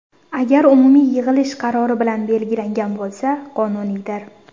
Agar umumiy yig‘ilish qarori bilan belgilangan bo‘lsa, qonuniydir.